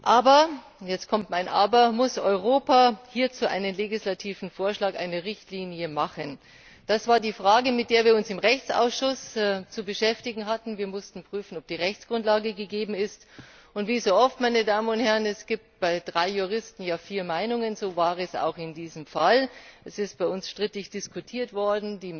Aber und jetzt kommt mein Aber muss Europa hierzu einen legislativen Vorschlag, eine Richtlinie auflegen? Das war die Frage, mit der wir uns im Rechtsausschuss zu beschäftigen hatten. Wir mussten prüfen, ob die Rechtsgrundlage gegeben ist, und wie so oft es gibt bei drei Juristen ja vier Meinungen und so war es auch in diesem Fall ist dieser Sachverhalt bei uns strittig diskutiert worden.